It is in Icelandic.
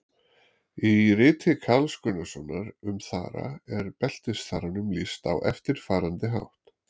Í riti Karls Gunnarssonar um þara er beltisþaranum lýst á eftirfarandi hátt: